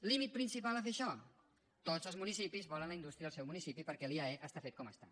límit principal a fer això tots els municipis volen la indústria al seu municipi perquè l’iae està fet com està